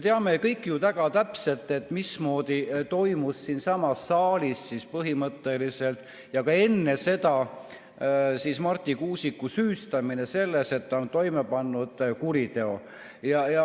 Me kõik ju teame väga täpselt, mismoodi toimus siinsamas saalis ja ka enne seda Marti Kuusiku süüstamine, et ta on toime pannud kuriteo.